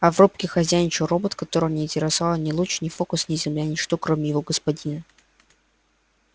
а в рубке хозяйничал робот которого не интересовали ни луч ни фокус ни земля ничто кроме его господина